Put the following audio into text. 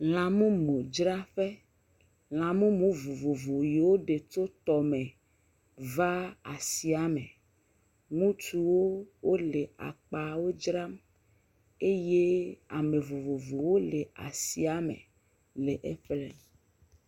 Lãmumudzraƒe, lãmumu vovovo si woɖe tso tɔme va asia me, ŋutsuwo le akpawo dzram eye ame vovovovowo le asia me le eƒle.